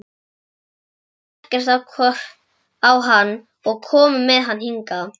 Þeim leist ekkert á hann og komu með hann hingað.